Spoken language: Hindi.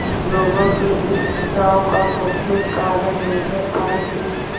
लोगों के इस खिंचाव का मुख्य कारण यह था कि